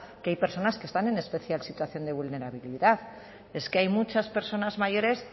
que hay personas que están en especial situación de vulnerabilidad es que hay muchas personas mayores